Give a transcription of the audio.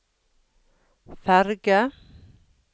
ferge